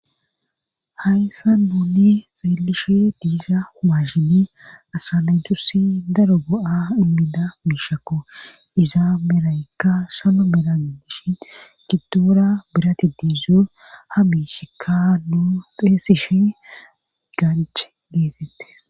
hayssa nuuni xeelishe diiza humashini asa naytussi daro go7a immida miishakko iza meraykka sano meragidishin giddoora birati diizo ha miishikka nuu xeesishi ganch geetettes